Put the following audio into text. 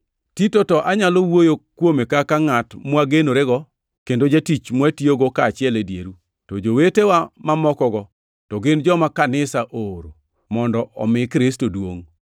Tito to anyalo wuoyo kuome kaka ngʼat mwagenorego kendo jatich mwatiyogo kaachiel e dieru, to jowetewa mamokogo to gin joma kanisa ooro, mondo omi Kristo duongʼ.